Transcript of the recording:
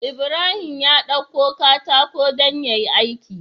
Ibrahim ya ɗauko katako dan yayi aiki